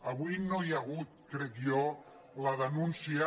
avui no hi ha ha·gut crec jo la denúncia